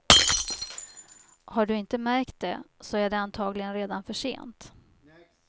Har du inte märkt det så är det antagligen redan för sent.